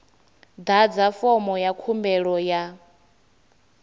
ḓadza fomo ya khumbelo ya